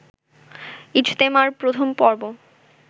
ইজতেমার প্রথম পর্ব